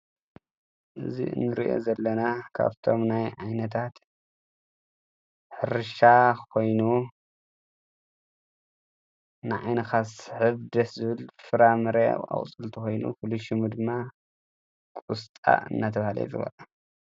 እዚ ንሪኦ ዘለና ካብቶም ናይ ዓይነታት ሕርሻ ኮይኑ ንዓይንካ ዝስሕብ ደስ ዝብል ፍራምረ አቁፅልቲ ኮይኑ ፍሉይ ሽሙ ድማ ቆስጣ እናተብሃለ ይፅዋዕ ።